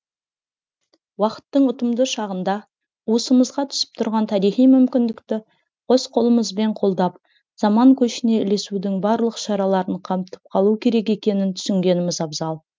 уақыттың ұтымды шағында уысымызға түсіп тұрған тарихи мүмкіндікті қос қолымызбен қолдап заман көшіне ілесудің барлық шараларын қамтып қалу керек екенін түсінгеніміз абзал